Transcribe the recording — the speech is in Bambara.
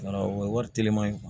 Wala o ye wari telima ye